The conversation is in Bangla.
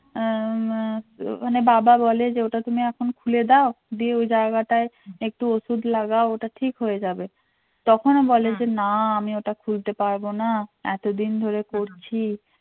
আহ মানে বাবা বলে যে ওটা তুমি এখন খুলে দাও দিয়ে ওই জায়গাটায় একটু ওষুধ লাগাও ওটা ঠিক হয়ে যাবে তখনও বলে যে না আমি ওটা খুলতে পারবো না এতদিন ধরে করছি